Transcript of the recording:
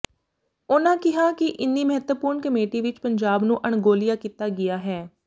ਉਨ੍ਹਾਂ ਕਿਹਾ ਕਿ ਇੰਨੀ ਮਹੱਤਵਪੂਰਨ ਕਮੇਟੀ ਵਿੱਚ ਪੰਜਾਬ ਨੂੰ ਅਣਗੌਲਿਆ ਕੀਤਾ ਗਿਆ ਹੈ